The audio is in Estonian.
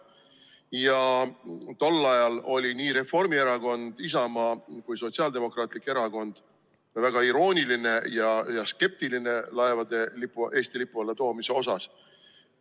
Ja tol ajal olid nii Reformierakond, Isamaa kui ka Sotsiaaldemokraatlik Erakond väga iroonilised ja skeptilised laevade Eesti lipu allatoomise osas.